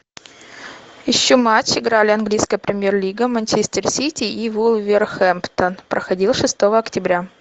ищу матч играли английская премьер лига манчестер сити и вулверхэмптон проходил шестого октября